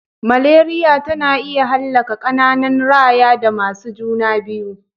Maleriya tana iya hallaka ƙananan raya da masu juna biyu.